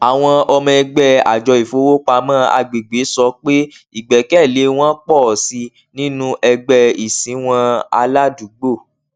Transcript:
àwọn ọmọ ẹgbẹ àjọ ìfowópamọ agbègbè sọ pé ìgbẹkẹlé wọn pọ sí i nínú ẹgbẹ ìsìnwọn aládùúgbò